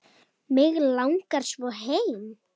Mig langar svo heim.